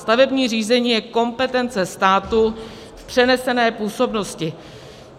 Stavební řízení je kompetence státu v přenesené působnosti.